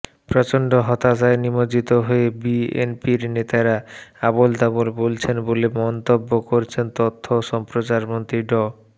প্রচণ্ড হতাশায় নিমজ্জিত হয়ে বিএনপির নেতারা আবোলতাবোল বলছেন বলে মন্তব্য করেছেন তথ্য ও সম্প্রচারমন্ত্রী ড